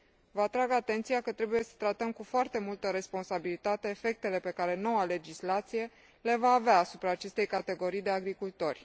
Vă atrag atenția că trebuie să tratăm cu foarte multă responsabilitate efectele pe care noua legislație la va avea asupra acestei categorii de agricultori.